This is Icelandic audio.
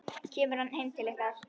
Kemur hann heim til ykkar?